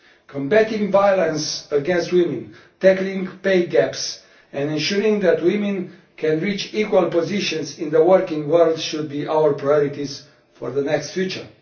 Combating violence against women, tackling pay gaps and ensuring that women can reach equal positions in the working world should be our priorities for the immediate future.